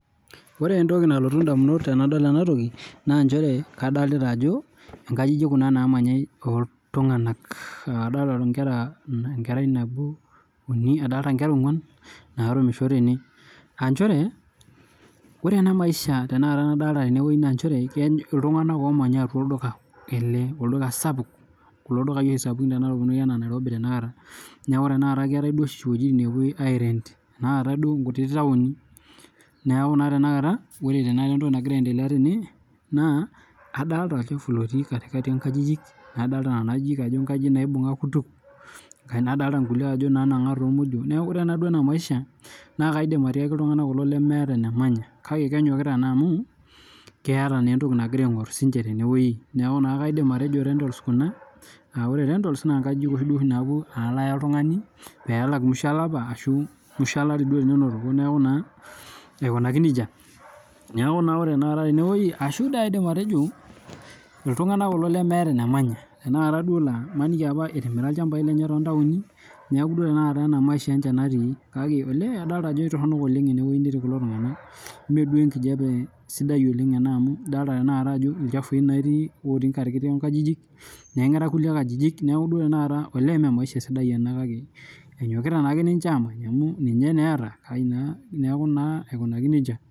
Ore Entoki nalotu ndamunot tanadol ena toki na nchere kadolita ajo nkajijik kuna namanyai oltunganak adolita nkera nabo uni adolita nkera onguan narumisho tene aa nchere ore enamaisha na kadolita tenewueji na nchere ltunganak omanya enewueji anaa olduka sapuk ltunganak omanya Nairobi ninye kuna tana keetae duoshi wuejitin napuoi airent naatae duo nkuti tauni neaku ore tanakata entoki nagira aendelea tene na adolta Nona ajijik ajo nkajijik naibunga kutu nadolta nkulie nananga tinamodio neakubore tanakara enamodei na kaidim atiaki ltunganak lemeta enemanya amu keeta entoki nagira aingor tenewueji neaku kaidim atejo rentals kuna aa nkajijik nalo Aya oltungani pelakmusho olapa ashu musho olari teninotoki neaku ore tanakata tenewueji ashu toi teninotoko na kaidim atejo ltunganak lemeeta enemanya imaniki nai etimira lchambai lenye tontauni neaku inaduo ninche maisha natii neaku adolta ajo etii toronok enewueji natii kulo tunganak meduo enkijape sidai ena amu idolta ajo ilchafui otii enkalo nkajijik nengera nkulie ajijik neaku duo tanakata me maisha sidai ena kake enyokita ake nche amany neaku naa aikunaki nejia